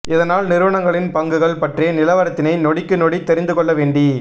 இதனால் நிறுவனங்களின் பங்குகள் பற்றிய நிலவரத்தினை நொடிக்கு நொடி தெரிந்து கொள்ள வேண்டி